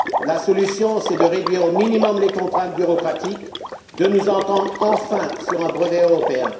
La solution est de réduire au minimum les contraintes bureaucratiques et de nous entendre enfin sur un brevet européen.